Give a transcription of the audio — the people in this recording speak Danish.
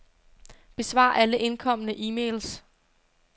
Besvar alle indkomne e-mails.